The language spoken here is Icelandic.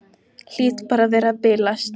Hlýt bara að vera að bilast.